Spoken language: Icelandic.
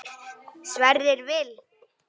Sverrir Vil.